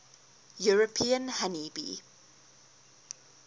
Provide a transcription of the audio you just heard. european honey bee